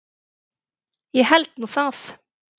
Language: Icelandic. Ég held nú það!